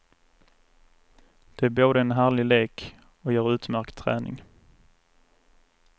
Det är både en härlig lek och ger utmärkt träning.